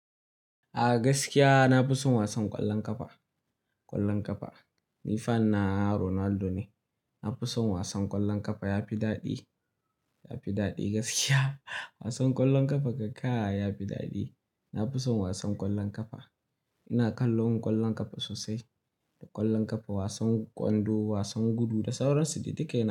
A gaskiya na fi son wasan ƙwallon ƙafa, ƙwallon ƙafa. Ni fan na Ronaldo ne. Na fi son wasan ƙwallon ƙafa yafi daɗi, yafi daɗi gaskiya. Wasan ƙwallon ƙafa gaskiya ko kai yafi daɗi. Na fi son wasan ƙwallon ƙafa. Ina kallon ƙwallon ƙafa sosai. Da ƙwallon ƙafa, wasan kwando, wasan gudu da sauran su, da duk yana.